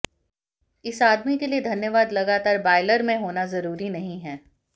इस आदमी के लिए धन्यवाद लगातार बायलर में होना जरूरी नहीं है